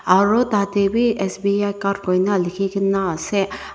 aru tate bhi sbicard koi na likhi kina ase.